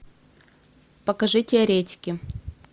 покажи теоретики